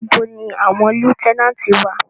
Ibo ni àwọn lieutenant wà?